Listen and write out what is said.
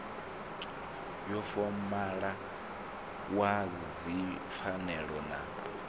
wa fomala wa dzipfanelo na